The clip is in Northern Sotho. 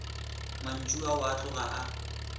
mantšu ao a tloga a